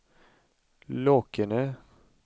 Lakene